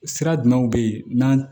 Sira jumɛnw bɛ yen n'an